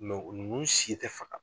nunnu si tɛ faga.